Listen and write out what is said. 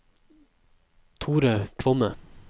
Thore Kvamme